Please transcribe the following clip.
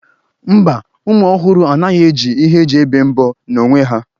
Mba, ụmụ ọhụrụ anaghị eji ihe eji ebe mbọ n'onwe ha